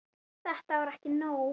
Þetta var ekki nóg.